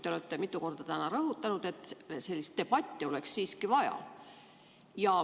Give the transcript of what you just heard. Te olete täna mitu korda rõhutanud, et sellist debatti oleks siiski vaja.